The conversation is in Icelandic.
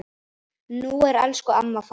Nú er elsku amma farin.